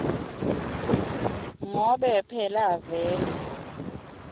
ngobe phela vele